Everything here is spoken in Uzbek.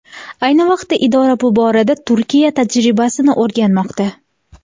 Ayni vaqtda idora bu borada Turkiya tajribasini o‘rganmoqda.